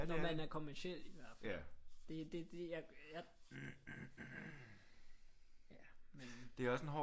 Når man er kommerciel i hvert fald det jeg ja men